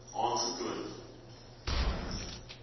aangetoon